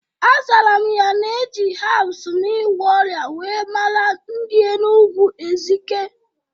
Azara m ya na eji hebs na ịgwọ ọrịa wee mara ndi Enugwu Ezike